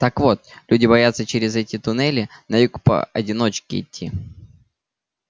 так вот люди боятся через эти туннели на юг поодиночке идти